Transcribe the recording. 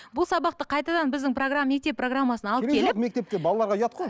бұл сабақты қайтадан біздің программа мектеп программасын алып келіп керек жоқ мектепке балаларға ұят қой